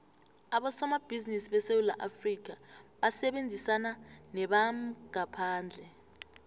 abosomabhizimisi besewula afrikha basebenzisana nebamgaphandle